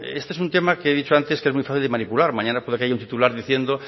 este es un tema que he dicho antes que es muy fácil de manipular mañana puede que haya un titular diciendo